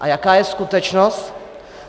A jaká je skutečnost?